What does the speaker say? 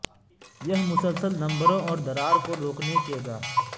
یہ مسلسل نمبروں اور درار کو روکنے کے گا